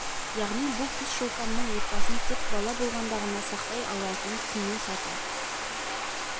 яғни бұл тұс шолпанның отбасын тек бала болғанда ғана сақтай алатынын түсіну сәті